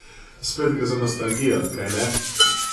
Spet gre za nostalgijo, kajne?